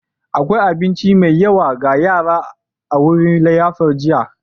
Akwai abinci mai yawa ga yaran a wurin liyafar jiya.